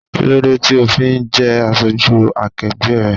Kí ló dé tí o ò fi jẹ́ aṣojú akegbe rẹ?